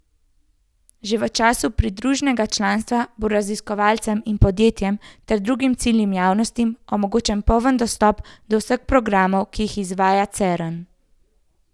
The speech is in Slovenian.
Že v času pridruženega članstva bo raziskovalcem in podjetjem ter drugim ciljnim javnostim omogočen poln dostop do vseh programov, ki jih izvaja Cern.